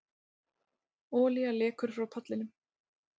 Olía lekur frá pallinum